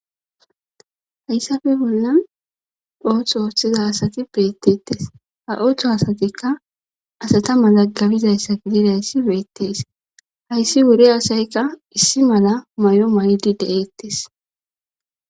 hayssafe bollan ooththo ooththiza asati beettettes ha ooththo asatikka asata mala gabizayssa gidirayssi beettes hayssi wuri asaykka issi mala may7o may7idi de7eettes